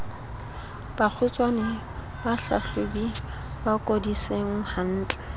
kgutshwane bahlahlobi ba lekodisise hantle